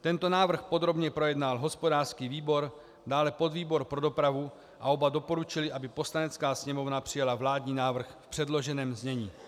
Tento návrh podrobně projednal hospodářský výbor, dále podvýbor pro dopravu, a oba doporučily, aby Poslanecká sněmovna přijala vládní návrh v předloženém znění.